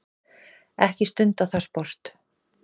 Ekkert stundað það sport.